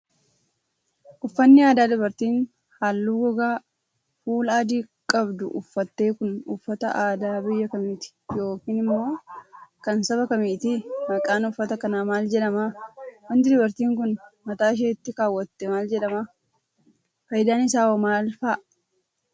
Uffanni aadaa dubartiin haalluu gogaa fuulaa adii qabdu uffatte kun, uffata aadaa biyya kamiiti yokin immoo kan saba kamiiti? Maqaan uffata kanaa maal jedhama? Wanti dubartiin kun, mataa isheetti kaawwatte maal jedhama? Faayidaan isaa hoo maal faa dha?